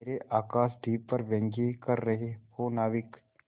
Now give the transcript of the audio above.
मेरे आकाशदीप पर व्यंग कर रहे हो नाविक